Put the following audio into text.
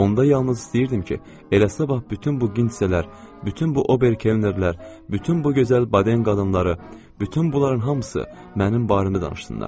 Onda yalnız istəyirdim ki, eləsinə bax bütün bu qisələr, bütün bu oberkellərlər, bütün bu gözəl baden qadınları, bütün bunların hamısı mənim barəmdə danışsınlar.